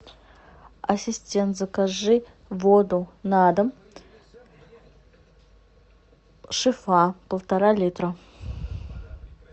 ассистент закажи воду на дом шифа полтора литра